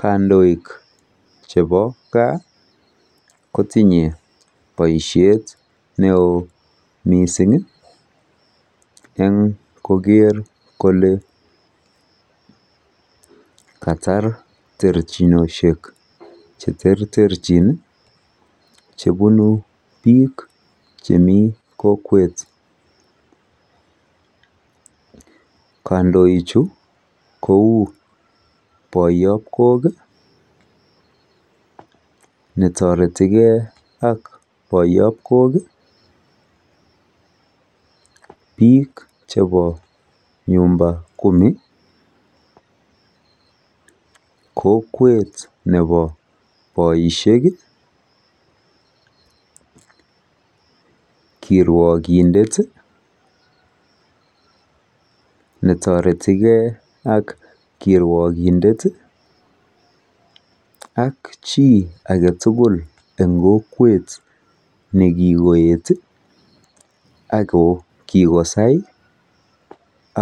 Kandoik chebo kaa kotinye boishet neoo mising en koker kole Katar chertirchinoshek cheterterchin chebunu bik Chemi kokwet kandoichu kou boyop kok netoreti Kee ak boyop kok biik chepo nyumba kumi] kokwet nebo boisheki kirwokindeti netoretikee ak kirwokindeti ak chi agetugul en kokwet nekikoeti Ako kikosai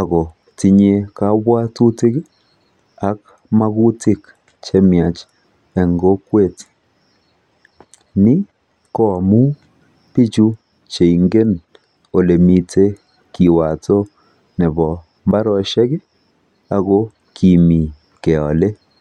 akotinye kobwotutik ak magutik chemiach en kokwet ni koamun bichu kongen olemi kiwoto nepo mbarenik akokimi keole